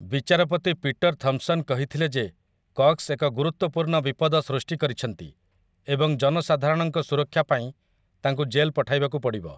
ବିଚାରପତି Peter Thompson କହିଥିଲେ ଯେ କକ୍ସ୍ ଏକ ଗୁରୁତ୍ୱପୂର୍ଣ୍ଣ ବିପଦ ସୃଷ୍ଟି କରିଛନ୍ତି ଏବଂ ଜନସାଧାରଣଙ୍କ ସୁରକ୍ଷା ପାଇଁ ତାଙ୍କୁ ଜେଲ୍ ପଠାଇବାକୁ ପଡ଼ିବ ।